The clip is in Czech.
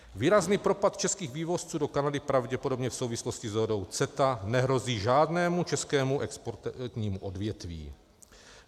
Výrazný propad českých vývozců do Kanady pravděpodobně v souvislosti s dohodou CETA nehrozí žádnému českému exportnímu odvětví.